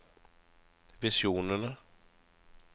visjonene